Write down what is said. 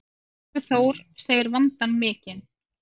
Tryggvi Þór segir vandann mikinn.